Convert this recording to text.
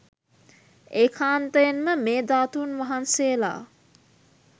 ඒකාන්තයෙන් ම මේ ධාතූන් වහන්සේලා